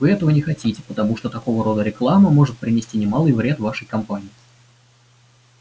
и вы этого не хотите потому что такого рода реклама может принести немалый вред вашей компании